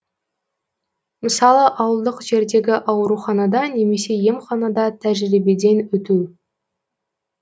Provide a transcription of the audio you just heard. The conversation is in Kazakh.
мысалы ауылдық жердегі ауруханада немесе емханада тәжірибеден өту